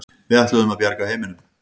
Við ætluðum að bjarga heiminum.